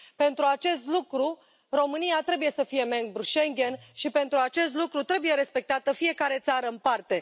Pentru acest lucru, România trebuie să fie membru Schengen și pentru acest lucru trebuie respectată fiecare țară în parte.